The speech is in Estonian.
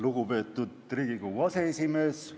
Lugupeetud Riigikogu aseesimees!